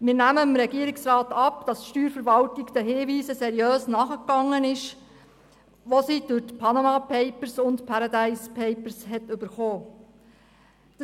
Wir nehmen dem Regierungsrat ab, dass die Steuerverwaltung den aufgrund der «Panama Papers» und der «Paradise Papers» erhaltenen Hinweisen seriös nachgegangen ist.